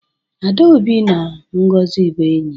adaobi na ngozi bu enyi